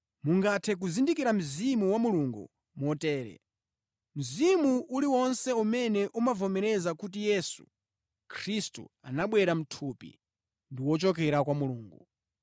Mungathe kuzindikira Mzimu wa Mulungu motere: Mzimu uliwonse umene umavomereza kuti Yesu Khristu anabwera mʼthupi, ndi wochokera kwa Mulungu,